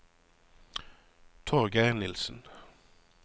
Torgeir Nilssen